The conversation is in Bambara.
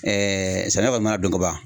samiya kɔni mana don ka ban